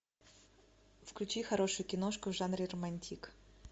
включи хорошую киношку в жанре романтик